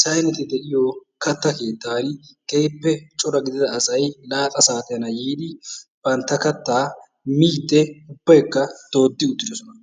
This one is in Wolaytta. sayneti de'iyo kattaa keettaan keehippe cora gidida asay laaxa saatiyan yiidi bantta kattaa miidi ubbaykks dooddi uttiddossona.